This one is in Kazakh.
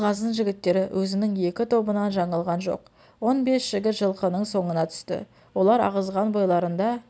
абылғазының жігіттері өзінің екі тобынан жаңылған жоқ он бес жігіт жылқының соңына түсті олар ағызған бойларында